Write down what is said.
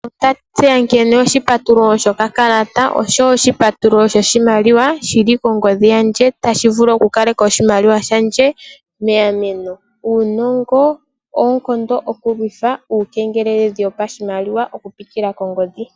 Otwa tseya nkene oshipatululo shokakalata oshowo oshipatululo shoshimaliwa shili kongodhi yandje tashi vulu oku kaleka oshimaliwa shandje megameno. Uunongo owo oonkondo oku lithwa uukengeleledhi wopashimaliwa oku pitila kongodhi.